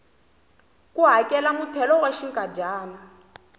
ku hakela muthelo wa xinkadyana